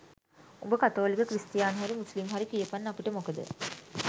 උඹ කතෝලික ක්‍රිස්තියානි හරි මුස්ලිම් හරි කියපන් අපිට මොකද?